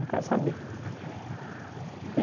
Não quero saber.